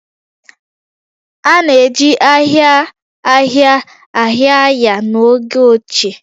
A na-eji ahia ahia ahia ahia ahia ahia n'oge ochie